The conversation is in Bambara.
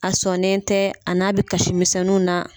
A sɔnen tɛ, a n'a bɛ kasimisɛnninw na.